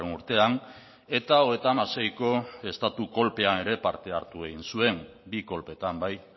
urtean eta hogeita hamaseiko estatu kolpean ere parte hartu egin zuen bi kolpeetan bai